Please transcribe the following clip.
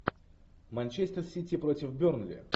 манчестер сити против бернли